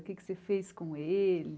O que é que você fez com ele?